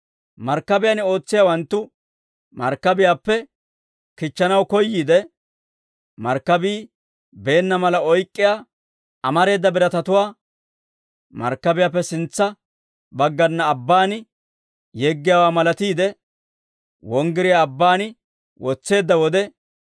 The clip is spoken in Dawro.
Markkabiyaan ootsiyaawanttu markkabiyaappe kichchanaw koyyiide, markkabii beenna mala oyk'k'iyaa amareeda biratatuwaa markkabiyaappe sintsa baggana abbaan yeggiyaawaa malatiide, wonggiriyaa abbaan wotseedda wode,